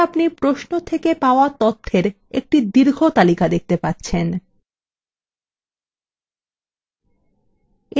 এখন আপনি প্রশ্ন থেকে পাওয়া তথ্যের একটি দীর্ঘ তালিকা দেখতে পাচ্ছেন